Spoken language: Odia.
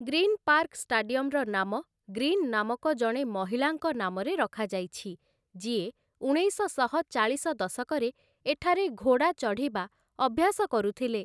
ଗ୍ରୀନ୍ ପାର୍କ ଷ୍ଟାଡିୟମ୍‌ର ନାମ ଗ୍ରୀନ୍ ନାମକ ଜଣେ ମହିଳାଙ୍କ ନାମରେ ରଖାଯାଇଛି ଯିଏ ଉଣେଇଶଶହ ଚାଳିଶ ଦଶକରେ ଏଠାରେ ଘୋଡ଼ା ଚଢ଼ିବା ଅଭ୍ୟାସ କରୁଥିଲେ ।